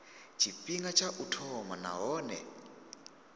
tshifhinga tsha u thoma nahone